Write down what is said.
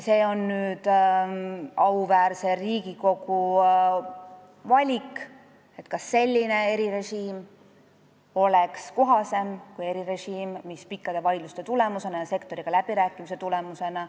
See on nüüd auväärse Riigikogu valik, kas kohasem oleks selline erirežiim või erirežiim, mis on selle seaduseelnõu kujul jõudnud teie lauale pikkade vaidluste ja sektoriga läbirääkimiste tulemusena.